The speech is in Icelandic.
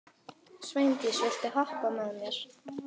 Sveindís, viltu hoppa með mér?